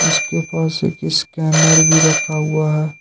इसके पास एक स्कैनर भी रखा हुआ है।